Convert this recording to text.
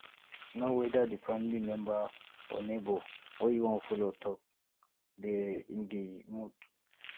know whether di family member or neighbour wey you won follow talk de in di mood